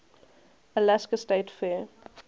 alaska state fair